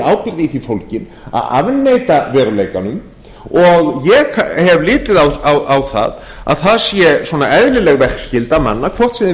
í því fólgin að afneita veruleikanum og ég hef litið á að það sé svona eðlileg verkskylda manna hvort sem þeir vinna